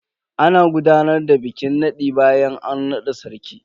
Ana gudanar da bikin nadin bayan an nada sarki.